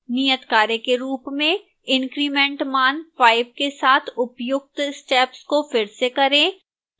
नियतकार्य के रूप में increment मान 5 के साथ उपर्युक्त steps को फिर से करें